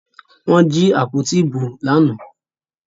Wọ́n jí àpótí ìbò lánàá